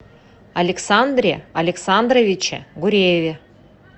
александре александровиче гурееве